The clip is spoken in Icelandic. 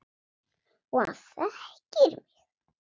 Og hann þekkir mig.